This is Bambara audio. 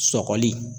Sɔgɔli